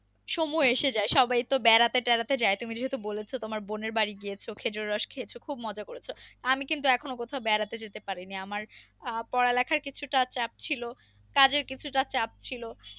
সময় এসে যায় সবাই তো বাড়াতে টেরাতে যায় তুমি তো বলেছো তুমি তোমার বোনের বাড়ি গিয়েছো খেজুর রস খয়েছো খুব মজা করেছো, আমি কিন্তু এখনো বেড়াতে যেতে পারিনি আমার আহ পড়া লেখার কিছুটা চাপ ছিল কাজের কিছুটা চাপ ছিলো।